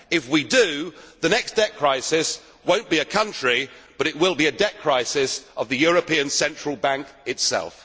If we do, the next debt crisis will not be in a country, but will be a debt crisis of the European Central Bank itself.